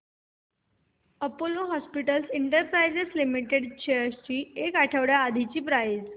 Apollo hospitals enterprise limited shares ची एक आठवड्या आधीची प्राइस